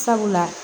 Sabula